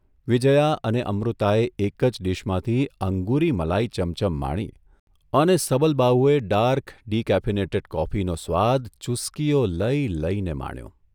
વિજયા અને અમૃતાએ એક જ ડીશમાંથી અંગુરી મલાઇ ચમચમ માણી અને સબલબાહુએ ડાર્ક ડીકેફીનેટેડ કોફીનો સ્વાદ ચુસ્કીઓ લઇ લઇને માણ્યો.